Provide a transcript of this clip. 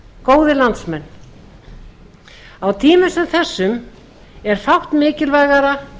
góðir landsmenn á tímum sem þessum er fátt mikilvægara